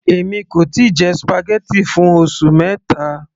èmi kò tíì jẹ spaghetti fún oṣù mẹta